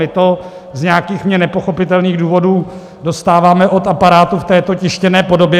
My to z nějakých mně nepochopitelných důvodů dostáváme od aparátu v této tištěné podobě.